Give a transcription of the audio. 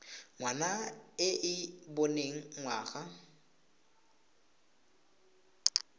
ngwana e e boneng ngwana